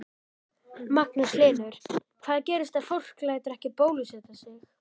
Magnús Hlynur: Hvað gerist ef fólk lætur ekki bólusetja sig?